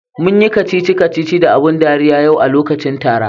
Munyi kacici kacici da abun dariya yau a lokacin tara.